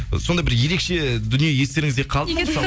сондай бір ерекше дүние естеріңізде қалды ма